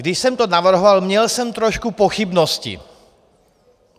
Když jsem to navrhoval, měl jsem trošku pochybnosti.